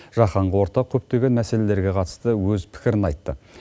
жаһанға ортақ көптеген мәселеге қатысты өз пікірін айтты